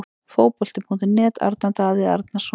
Fótbolti.net- Arnar Daði Arnarsson